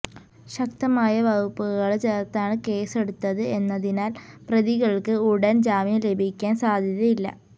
ശക്തമായ വകുപ്പുകള് ചേര്ത്താണ് കേസെടുത്തത് എന്നതിനാല് പ്രതികള്ക്ക് ഉടന് ജാമ്യം ലഭിക്കാന് സാധ്യതയില്ല